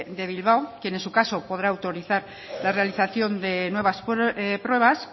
de bilbao quien en su caso podrá autorizar la realización de nuevas pruebas